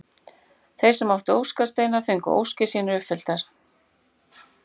Þeir sem áttu óskasteina fengu óskir sínar uppfylltar.